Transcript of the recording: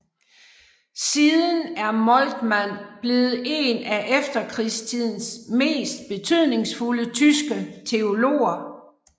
Siden er Moltmann blevet en af efterkrigstidens mest betydningsfulde tyske teologer